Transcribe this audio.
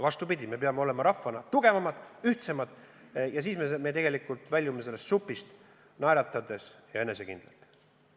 Vastupidi, me peame olema rahvana tugevamad, ühtsemad ja siis me tegelikult väljume sellest supist naeratades ja enesekindlalt.